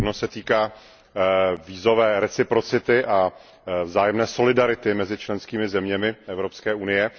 Jedna se týká vízové reciprocity a vzájemné solidarity mezi členskými zeměmi Evropské unie.